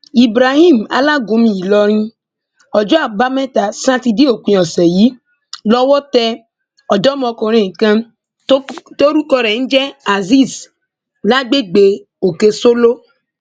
ibrahim alágúnmu ìlọrin ọjọ àbámẹta sátidé òpin ọsẹ yìí lọwọ tẹ ọdọmọkùnrin kan tórúkọ rẹ ń jẹ azeez lágbègbè òkèsóló